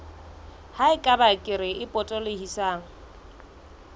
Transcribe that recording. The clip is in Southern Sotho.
ha eba kere e potolohisang